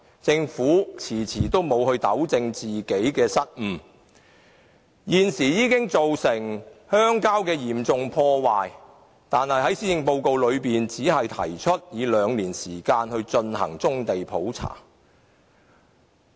政府遲遲不糾正自己的失誤，造成鄉郊遭受嚴重破壞，但在施政報告中，政府只提出以兩年時間進行棕地普查。